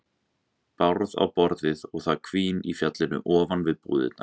Bárð á borðið og það hvín í fjallinu ofan við búðirnar.